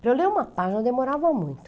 Para eu ler uma página eu demorava muito.